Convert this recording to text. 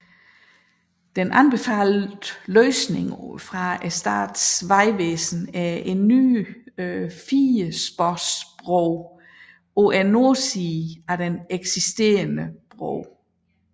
Den anbefalede løsning fra Statens vegvesen er en ny firesporsbro på nordsiden af den eksisterende bro